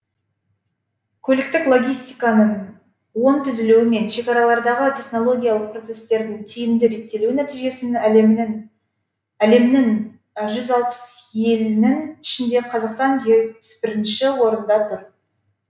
көліктік логистиканың оң түзілуі мен шекаралардағы технологиялық процестердің тиімді реттелуі нәтижесінде әлемнің жүз алпыс елінің ішінде қазақстан жетпіс бірінші орында тұр